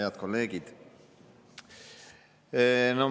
Head kolleegid!